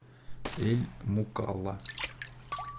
эль мукалла